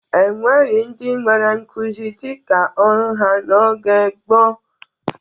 E nweghi ndị nwere nkuzi dịka ọrụ ha n'oge gboo.